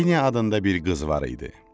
Jeniya adında bir qız var idi.